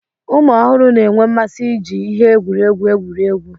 ụmụ ọhụrụ na-enwe mmasị iji ihe egwuregwu egwuri egwu